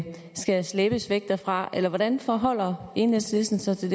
skal slæbes væk derfra eller hvordan forholder enhedslisten sig til